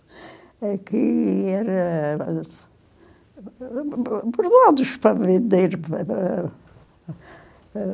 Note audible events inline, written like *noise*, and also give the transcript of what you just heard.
É que era... Por nada, eu estava indo. *unintelligible*